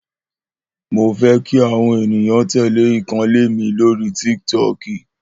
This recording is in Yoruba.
Mó fẹ́ kí àwọn èniyàn tèlè ìkànnlé mi lórí Tíktọ̀kí